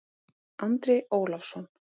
Andri Ólafsson